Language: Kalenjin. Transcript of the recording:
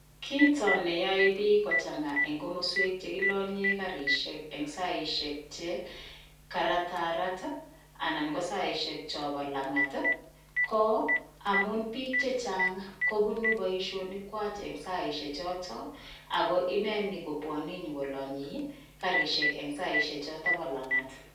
Kito ne yoe biik kochang'a eng komoswek chekilonyen karisiek eng saisiek che karatarat anan ko saisiek chobo lang'at ii, ko amun biik che chang kobunu boisionikwach eng saisiechoto ago ineninyokobwane kolanyei karisiek eng saisiechoto bo lang'at.